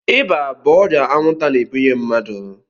Ịba bụ ọrịa anwụnta na-ebunye mmadụ.